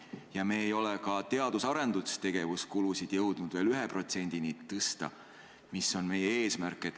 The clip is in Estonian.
Ja me ei ole ka teadus- ja arendustegevuse kulusid jõudnud veel 1%-ni tõsta, mis on meie eesmärk.